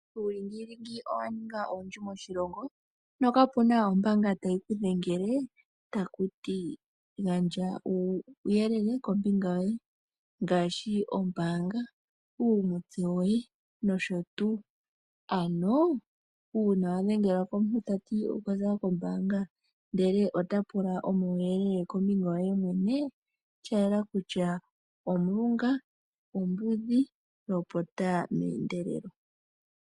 Uulingilingi owa ninga owundji moshilongo no kapena ombaanga tayi ke dhengele tayiti gandja uuyelele kombinga yoye ngaashi ombaanga. Uuna wa dhengelwa komuntu tati okwaza kombaanga ndele ota lula omauyelele kombinga yoye mwene oshayela kutya uulunga, uumbudhi lopota meendelelo.